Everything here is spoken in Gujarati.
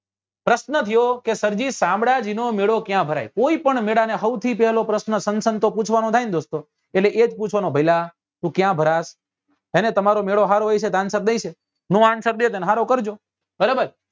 પ્રશ્ન થયો કે સર જી શામળાજી નો મેળો ક્યાં ભરાય કોઈ પણ મેળા નો હૌથી પેલો પૂછવા નો થાય ને દોસ્તો એટલે એ જ પૂછવા નો ભઈલા તું ક્યા ભરાત એને તમારો મેળો હારો હોય છે તો answer દઈ દે નો answer દે તો એને હારો કરજો બરાબર